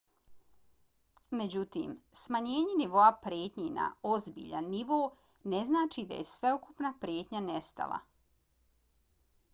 međutim smanjenje nivoa prijetnje na ozbiljan nivo ne znači da je sveukupna prijetnja nestala.